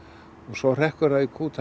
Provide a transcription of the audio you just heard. svo hrekkur það í kút